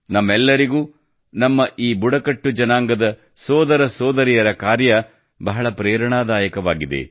ನಮ್ಮೆಲ್ಲರಿಗೂ ನಮ್ಮ ಈ ಬುಡಕಟ್ಟು ಜನಾಂಗದ ಸೋದರ ಸೋದರಿಯರ ಕಾರ್ಯ ಬಹಳ ಪ್ರೇರಣಾದಾಯಕವಾಗಿದೆ